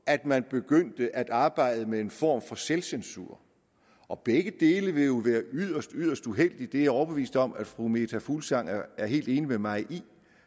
at man begyndte at arbejde med en form for selvcensur og begge dele ville jo være yderst yderst uheldigt det er jeg overbevist om at fru meta fuglsang er helt enig med mig i